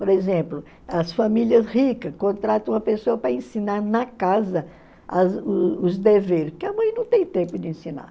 Por exemplo, as famílias ricas contratam uma pessoa para ensinar na casa as os os deveres, porque a mãe não tem tempo de ensinar.